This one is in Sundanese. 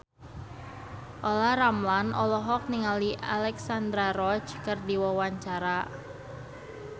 Olla Ramlan olohok ningali Alexandra Roach keur diwawancara